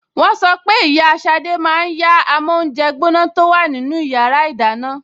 Wọ́n sọ pé ìyá Ṣadé máa yá amóúnjẹgbóná tó wà nínú yàrá ìdáná